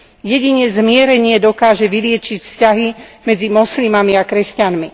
Jedine zmierenie dokáže vyliečiť vzťahy medzi moslimami a kresťanmi.